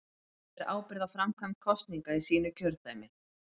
Hún ber ábyrgð á framkvæmd kosninga í sínu kjördæmi.